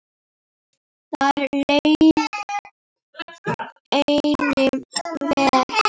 Þar leið henni vel.